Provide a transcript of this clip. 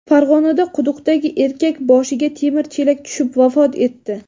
Farg‘onada quduqdagi erkak boshiga temir chelak tushib vafot etdi.